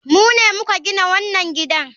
Mu ne muka gina wannan gidan.